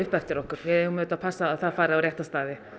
eftir okkur við eigum auðvitað að passa að það fari á rétta staði